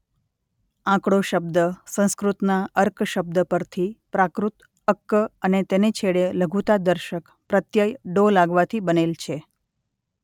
આકડો શબ્દ સંસ્કૃતના અર્ક શબ્દ પરથી પ્રાકૃત અક્ક અને તેને છેડે લઘુતાદર્શક પ્રત્યય ડો લાગવાથી બનેલ છે.